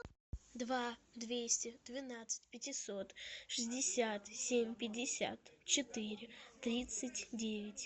два двести двенадцать пятьсот шестьдесят семь пятьдесят четыре тридцать девять